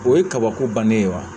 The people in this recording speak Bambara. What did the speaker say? O ye kabako bannen ye wa